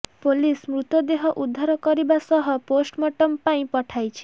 police ମୃତଦେହ ଉଦ୍ଧାର କରିବା ସହ ପୋଷ୍ଟମର୍ଟମ ପାଇଁ ପଠାଇଛି